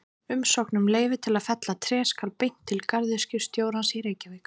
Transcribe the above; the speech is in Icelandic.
Umsókn um leyfi til að fella tré skal beint til garðyrkjustjórans í Reykjavík.